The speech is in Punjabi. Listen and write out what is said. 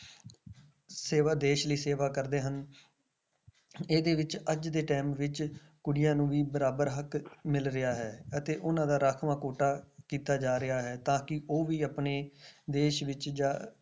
ਸੇਵਾ ਦੇਸ ਲਈ ਸੇਵਾ ਕਰਦੇ ਹਨ ਇਹਦੇ ਵਿੱਚ ਅੱਜ ਦੇ time ਵਿੱਚ ਕੁੜੀਆਂ ਨੂੰ ਵੀ ਬਰਾਬਰ ਹੱਕ ਮਿਲ ਰਿਹਾ ਹੈ ਅਤੇ ਉਹਨਾਂ ਦਾ ਰਾਖਵਾਂ ਕੋਟਾ ਕੀਤਾ ਜਾ ਰਿਹਾ ਹੈ, ਤਾਂ ਕਿ ਉਹ ਵੀ ਆਪਣੇ ਦੇਸ ਵਿੱਚ ਜਾ